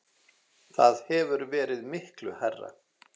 Það hefur verið miklu hærra.